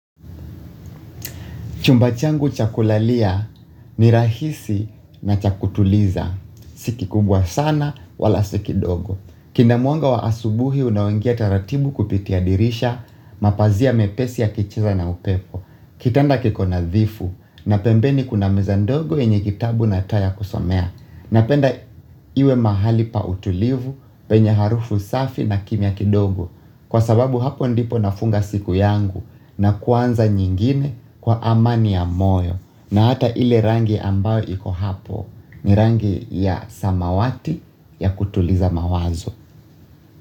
Chumba changu cha kulalia ni rahisi na cha kutuliza. Si kikubwa sana wala si kidogo. Kina mwanga wa asubuhi unaoingia taratibu kupitia dirisha mapazia mepesi yakicheza na upepo. Kitanda kiko nadhifu na pembeni kuna meza ndogo yenye kitabu na taa ya kusomea. Napenda iwe mahali pa utulivu, penye harufu safi na kimya kidogo kwa sababu hapo ndipo nafunga siku yangu na kuanza nyingine kwa amani ya moyo na hata ile rangi ambayo iko hapo ni rangi ya samawati ya kutuliza mawazo.